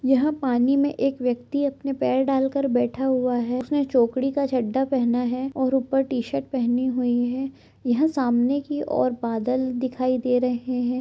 यहाँ पानी में एक व्यक्ति अपने पैर डालकर बैठा हुआ है उसने चौकड़ी का चड्ढा पहना है और ऊपर टी-शर्ट पहनी हुई है यहाँ सामने की ओर बादल दिखाई दे रहे है।